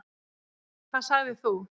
Hvað sagðir þú?